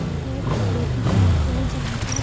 यह कपड़ो की शॉप है जहाँ पर --